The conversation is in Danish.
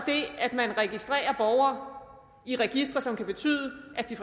at man registrerer borgere i registre som kan betyde at de